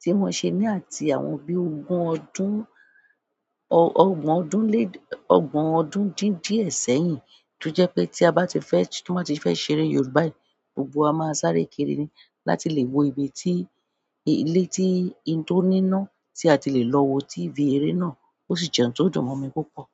tí wón ṣe ní àti àwọn bí ogun ọdún, ọ ọgbọ̀n ọdún lé, ọgbọ̀n ọdún dín díẹ̀ sẹ́yìn, tó jẹ́ pé tí a bá ti fẹ́, tí wọ́n bá ti fẹ́ ṣe eré Yorùbá yìí, gbogbo wa máa sáré kiri ni láti lè wo ibi tí, ilé tí, n tó níná tí a ti lè lọ wo tv eré náà. Ó sì jẹ́ ohun tó dùn mọ́ mi púpọ̀.